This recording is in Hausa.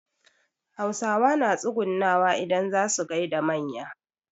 Hausawa na tsugunawa idan zaa su gaida manya.